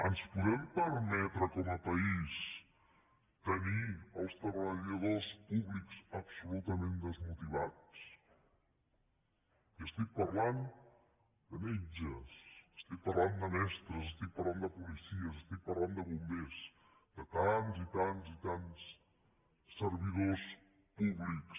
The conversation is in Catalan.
ens podem permetre com a país tenir els treballadors públics absolutament desmotivats i estic parlant de metges estic parlant de mestres estic parlant de policies estic parlant de bombers de tants i tants i tants servidors públics